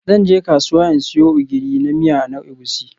Zan je kasuwa in siyo Ogiri na miya na Egusi.